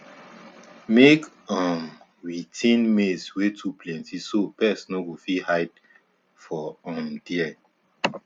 make um we thin maize wey too plenty so pest no go fit hide for um there